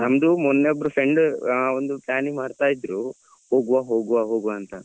ನಮ್ದು ಮೊನ್ನೆ ಒಬ್ಬ್ರು friend ಒಂದು planning ಮಾಡ್ತಾ ಇದ್ರು ಹೋಗುವ ಹೋಗುವ ಹೋಗುವ ಅಂತ.